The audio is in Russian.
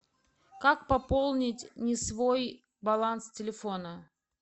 как пополнить не свой баланс телефона